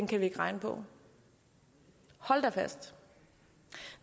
kan vi ikke regne på hold da fast